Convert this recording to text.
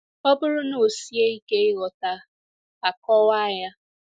Ọ bụrụ na ọ sie ike ighọta, a kọwaa ya.